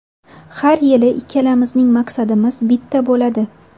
Har yili ikkalamizning maqsadimiz bitta bo‘ladi.